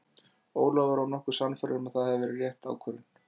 Ólafur var nokkuð sannfærður að það hafi verið rétt ákvörðun.